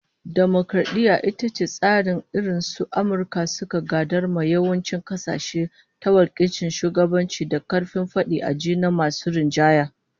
Dimokaradiyya ita ce tsarin da irin su Amurka suka gadar ma yawancin kasashe, ta wakilcin shugabanci da karfin fadi a ji na masu rinjaye